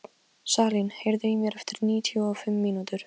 Salín, heyrðu í mér eftir níutíu og fimm mínútur.